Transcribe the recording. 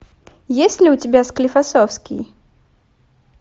есть ли у тебя склифосовский